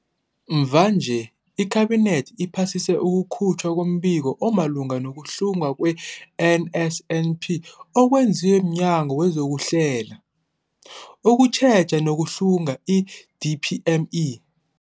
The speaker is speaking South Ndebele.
Mvanje, iKhabinethi iphasise ukukhutjhwa kombiko omalungana nokuhlungwa kwe-NSNP okwenziwe mNyango wezokuHlela, ukuTjheja nokuHlunga, i-DPME.